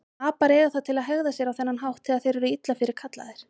Apar eiga það til að hegða sér á þennan hátt þegar þeir eru illa fyrirkallaðir.